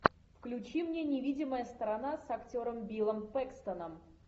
включи мне невидимая сторона с актером биллом пэкстоном